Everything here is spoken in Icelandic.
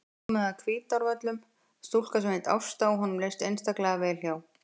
Svo var komin að Hvítárvöllum stúlka sem hét Ásta og honum leist einstaklega vel á.